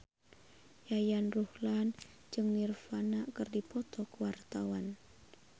Yayan Ruhlan jeung Nirvana keur dipoto ku wartawan